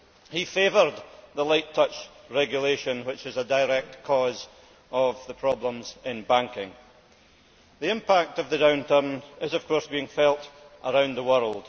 He favoured the light touch regulation that is a direct cause of the problems in banking. The impact of the downturn is, of course, being felt around the world.